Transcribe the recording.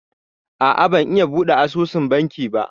A'a ban iya buɗe asusun banki ba